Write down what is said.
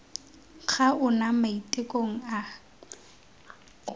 ga ona mo maitekong a